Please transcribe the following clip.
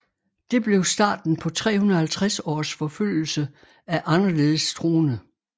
Det blev starten på 350 års forfølgelse af anderledes troende